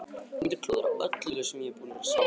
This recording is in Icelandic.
Ég mundi klúðra öllu sem ég er búinn að vera að spá í.